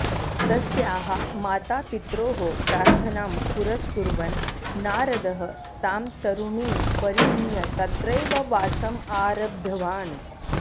तस्याः मातापित्रोः प्रार्थनां पुरस्कुर्वन् नारदः तां तरुणीं परिणीय तत्रैव वासम् आरब्धवान्